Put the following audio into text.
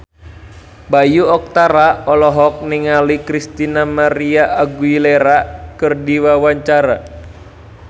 Bayu Octara olohok ningali Christina María Aguilera keur diwawancara